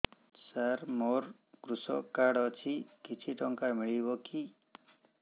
ସାର ମୋର୍ କୃଷକ କାର୍ଡ ଅଛି କିଛି ଟଙ୍କା ମିଳିବ କି